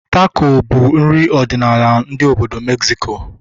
Tako bụ nri ọdịnala ndị obodo Megziko